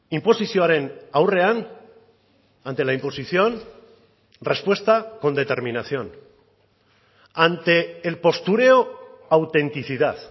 inposizioaren aurrean ante la imposición respuesta con determinación ante el postureo autenticidad